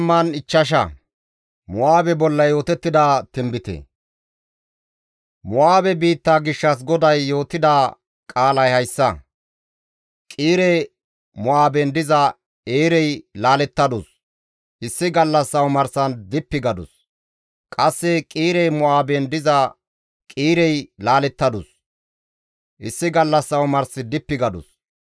Mo7aabe biitta gishshas GODAY yootida qaalay hayssa; Qiire-Mo7aaben diza Eerey laalettadus; issi gallassa omarsan dippi gadus; qasse Qiire-Mo7aaben diza Qiirey laalettadus; issi gallassa omars dippi gadus.